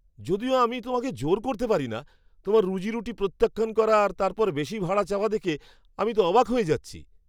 যদিও আমি তোমাকে জোর করতে পারি না, তোমার রুজিরুটি প্রত্যাখ্যান করা আর তারপর বেশি ভাড়া চাওয়া দেখে তো আমি অবাক হয়ে যাচ্ছি।